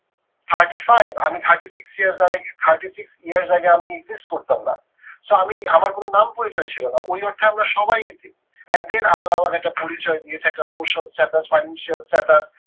thirty five আমি thirty-six years thirty six years আগে আমি exist করতাম না। so আমি আমার কোনো নাম পরিচয় ছিল না ওই আমরা সবাই এতিম। and then আল্লাহ আমাদের একটা পরিচয় দিয়েছে একটা social status financial status